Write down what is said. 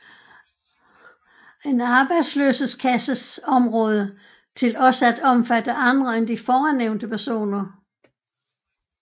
En arbejdsløshedskasse område til også at omfatte andre end de foran nævnte personer